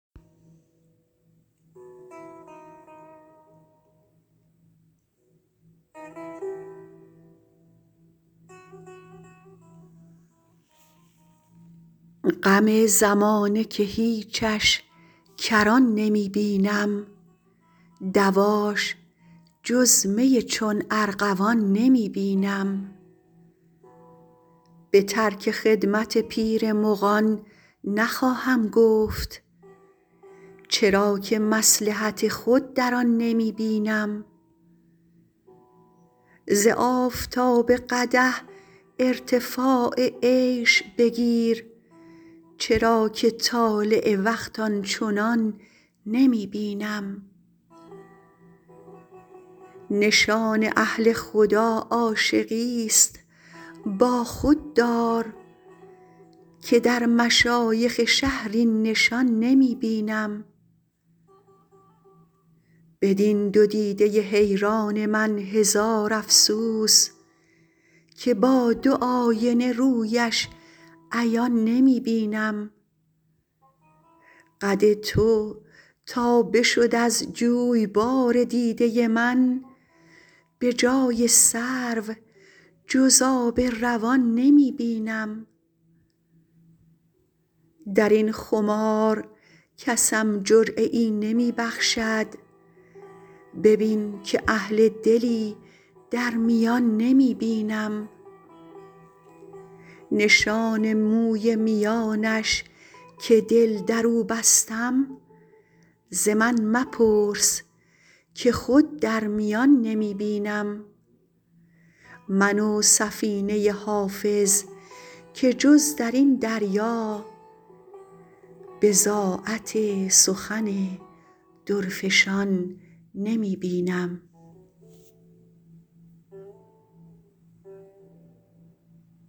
غم زمانه که هیچش کران نمی بینم دواش جز می چون ارغوان نمی بینم به ترک خدمت پیر مغان نخواهم گفت چرا که مصلحت خود در آن نمی بینم ز آفتاب قدح ارتفاع عیش بگیر چرا که طالع وقت آن چنان نمی بینم نشان اهل خدا عاشقیست با خود دار که در مشایخ شهر این نشان نمی بینم بدین دو دیده حیران من هزار افسوس که با دو آینه رویش عیان نمی بینم قد تو تا بشد از جویبار دیده من به جای سرو جز آب روان نمی بینم در این خمار کسم جرعه ای نمی بخشد ببین که اهل دلی در میان نمی بینم نشان موی میانش که دل در او بستم ز من مپرس که خود در میان نمی بینم من و سفینه حافظ که جز در این دریا بضاعت سخن درفشان نمی بینم